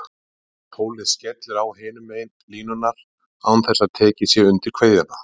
Tólið skellur á hinum megin línunnar án þess að tekið sé undir kveðjuna.